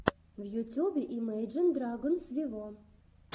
в ютюбе имейджин драгонс виво